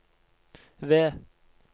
V